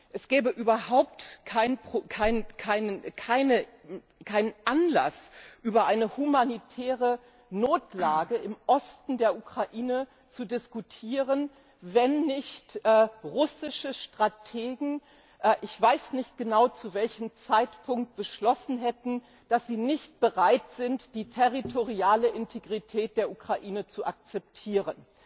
Es gäbe überhaupt keinen Anlass, über eine humanitäre Notlage im Osten der Ukraine zu diskutieren, wenn nicht russische Strategen ich weiß nicht genau zu welchem Zeitpunkt beschlossen hätten, dass sie nicht bereit sind, die territoriale Integrität der Ukraine zu akzeptieren.